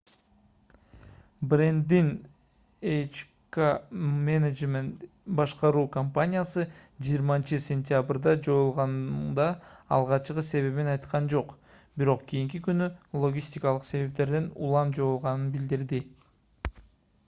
брэнддин hk management inc башкаруу компаниясы 20-сентябрда жоюлганда алгачкы себебин айткан жок бирок кийинки күнү логистикалык себептерден улам жоюлганын билдирди